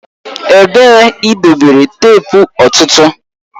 Ebee ka idobere teepu ọ̀tụ̀tụ̀?